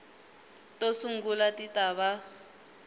to sungula ti ta va